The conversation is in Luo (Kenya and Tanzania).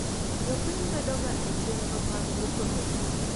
Jopiny bedoga echenro mag duoko lowo.